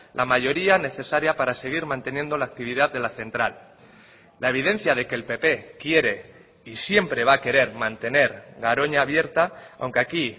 la mayoría necesaria para seguir manteniendo la actividad de la central la evidencia de que el pp quiere y siempre va a querer mantener garoña abierta aunque aquí